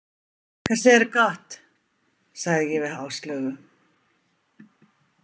Kað seiirru gott, sagði ég við Áslaugu.